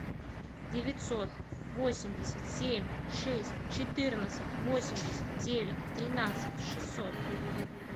девятьсот восемьдесят семь шесть четырнадцать восемьдесят девять тринадцать шестьсот